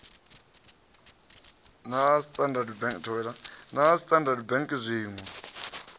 na a standard bank zwinwe